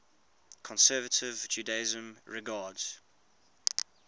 conservative judaism regards